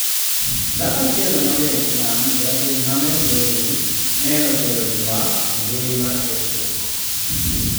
Dhako achiel ma ja islam Jabin Ahmed Ruhii ne otero yuek e mbui mar Facebook